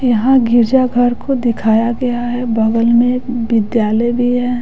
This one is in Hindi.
यहाँ गिरजाघर को दिखाया गया है बगल में विद्यालय भी है।